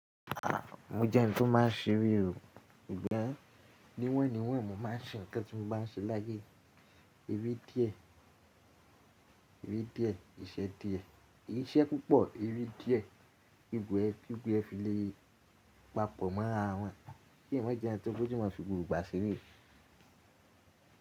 A! Mo jẹ́ ẹni tó máa ṣeré o. Ìgbẹ́ níwọ̀nni níwọ̀nni mo máa ṣe nǹkan tí mo bá ṣe láyé. Eré díẹ̀, eré díẹ̀, iṣẹ́ díẹ̀, iṣẹ́ púpọ̀, eré díẹ̀, bígbo ẹ, bígbo ẹ fi le papọ̀ mọ́ ara wọn. Kí eeyan ma jẹ́ ẹni tí ó fójú mọ́ fi gbogbo igba ṣeré.